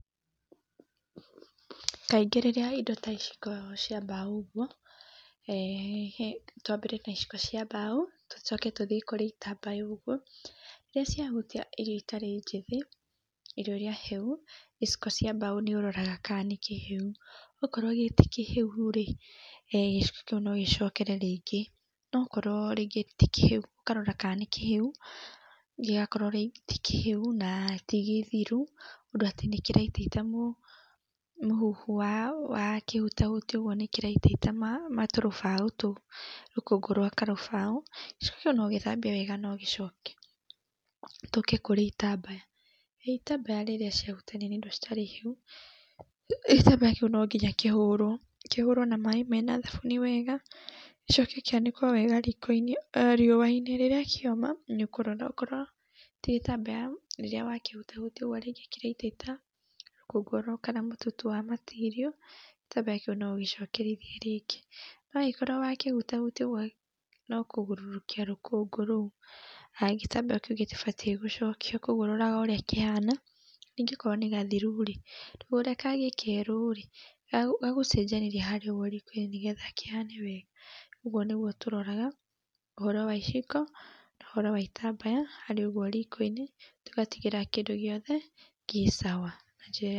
Kaĩngĩ rĩrĩa indo ta ici ikoragwo cia mbaũ ũguo, twambĩrĩrie na iciko cia mbaũ tucoke tũthĩi kũrĩ itambaya ũguo iria ciahutia irio itarĩ njĩthĩ irio iria hĩu iciko cia mbaũ nĩũroraga kana nĩkĩhĩu okorwo tikĩhĩu rĩ gĩciko kĩu no gĩcokere rĩngĩ, nokorwo rĩngĩ ti kĩhĩu ũkarora ka nĩkĩhĩu gĩakorwo ti kĩhĩu na ti gĩthiru ũndũ atĩ nĩkĩraitaita mũhu wakĩhutahutia nĩkĩraitaita matũrũbao tũu rũkũngũ rwa karũbaũ gĩcĩko kĩu no gĩthambio wega na ũgĩcokere. Tũke kũrĩ itambaya , itambaya rĩrĩa ciahutania na indo itarĩ hĩu gĩtambaya kĩu nonginya kĩhũrwo, kĩhũrwo na maĩ mena thabuni wega gĩcoke kĩaĩkwo wega riko-inĩ riũa-inĩ nĩgetha rĩrĩa kioma nĩukũrora okorwo ti gĩtambaya rĩrĩa wakĩhutahutia rĩngĩ kĩrataita rũkũngũ rũũ kana mũtutu wa material gĩtambaya kĩu no ũgicokerithie rĩngĩ no angĩkorwo wakĩhutahutia ũguo no kũgũrũrũkia rũkũngũ rũu gĩtrambaya kĩu gĩtibatie gũcokia kwa ũguo, ũroraga ũria kĩhana nĩngĩ okorwo nĩ gathiru rĩ ndũgũre kangĩ kerũ ka gũcenjanĩrĩa harĩa riko-inĩ nĩgetha gakĩhane wega ũguo nĩgwo tũroraga ũhoro wa iciko na ũhoro wa itambaya harĩa ũguo riko-inĩ tũgatigĩrĩra kĩndũ gĩothe gĩ cawa.